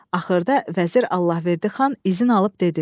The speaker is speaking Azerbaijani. Axırda vəzir Allahverdi xan izin alıb dedi: